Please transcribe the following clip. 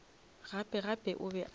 gape gape o be a